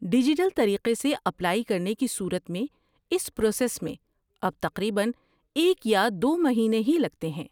Digital طریقے سے apply کرنے کی صورت میں اس پراسس میں اب تقریباً ایک یا دو مہینے ہی لگتے ہیں۔